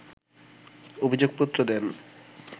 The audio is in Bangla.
অভিযোগপত্র দেন